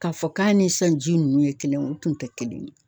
K'a fɔ k'a ni sisanji nunnu ye kelen ye u tun te kelen ye